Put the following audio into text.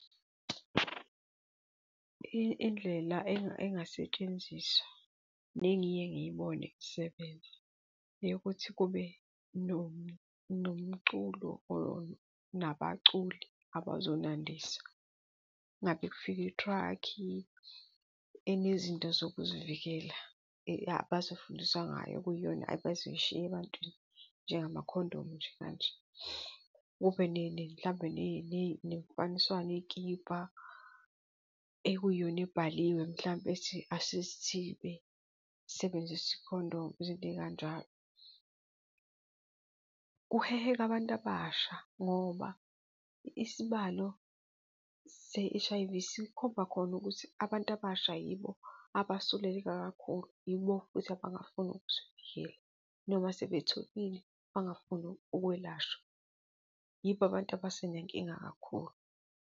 Indlela engasetshenziswa nengiye ngibone zisebenza yokuthi kube nomculo or nabaculi abazonandisa. Ngabe kufika i-truck-i enezinto zokuzivikela abazofundiswa ngayo kuyona abazoyishiya ebantwini njengamakhondomu nje kanje, kube mhlambe nemifaniswano yeyikipa ekuyiyona ebhaliwe, mhlampe ethi asizithibe, sisebenzise ikhondomu izinto ey'kanjalo. Kuheheka abantu abasha ngoba isibalo se-H_I_V sikhomba khona ukuthi abantu abasha yibo abasuleleka kakhulu, yibo futhi abangafuni ukuzivikela noma sebetholile, bangafuni ukwelashwa, yibo, abantu abasenenkinga kakhulu.